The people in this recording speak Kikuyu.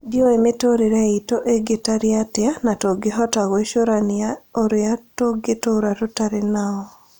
Ndĩũĩ mĩtũrĩre itũ ĩngĩtarie atĩa na tũngĩhota gwĩcorania ũrĩa tũngĩtora tũtarĩ nao.